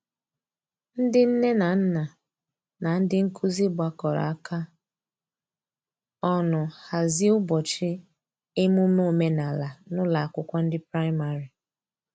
ndi nne na nna na ndi nkụzi gbakọrọ aka ọnụ hazie ubochi emume omenala n'ụlọ akwụkwo ndi praịmarị